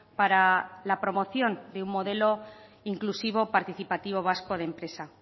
para la promoción de un modelo inclusivo participativo vasco de empresa